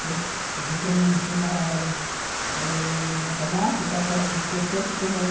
Que você quer me ensinar ãh matemática, pode esquecer, porque não